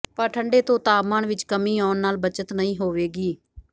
ਪਰ ਠੰਡੇ ਤੋਂ ਤਾਪਮਾਨ ਵਿਚ ਕਮੀ ਆਉਣ ਨਾਲ ਬੱਚਤ ਨਹੀਂ ਹੋਵੇਗੀ